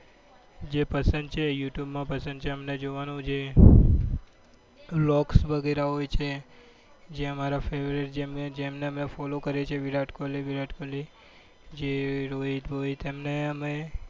જે પસંદ છે યુ ટુબ માં પસંદ છે અમારે જોવાનું. જે vlog વગેરે હોય છે જે અમારા favourite જેમને અમે follow કરીએ છીએ જેમ કે વિરાટ કોહલી વિરાટ કોહલી જે રોહિત વોહિલ એમને અમે